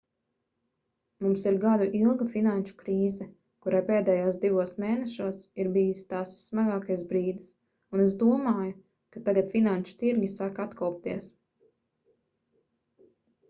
mums ir gadu ilga finanšu krīze kurai pēdējos divos mēnešos ir bijis tās vissmagākais brīdis un es domāju ka tagad finanšu tirgi sāk atkopties